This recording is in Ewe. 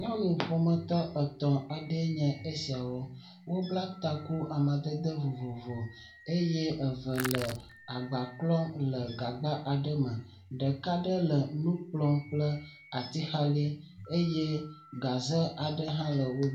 Nyɔnu ƒometɔ etɔ̃ aɖee nye esiawo, wobla taku amadede vovovo eye eve le agba klɔm le gagba aɖe me ɖeka aɖe le nu kplɔm kple atixali eye gaze hã le wo gbɔ